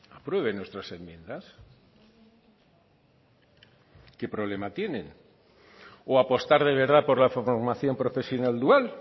aprueben nuestras enmiendas qué problema tienen o apostar de verdad por la formación profesional dual